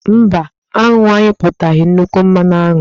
Mba, aṅụ anyụpụtaghị nnukwu mmanụ aṅụ.